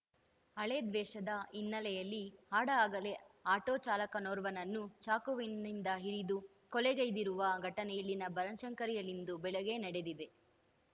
ಹಳೇ ದ್ವೇಷದ ಹಿನ್ನೆಲೆಯಲ್ಲಿ ಹಾಡಹಗಲೇ ಆಟೋಚಾಲಕನೋರ್ವನನ್ನು ಚಾಕುವಿನಿಂದ ಇರಿದು ಕೊಲೆಗೈದಿರುವ ಘಟನೆ ಇಲ್ಲಿನ ಬನಶಂಕರಿಯಲ್ಲಿಂದು ಬೆಳಿಗ್ಗೆ ನಡೆದಿದೆ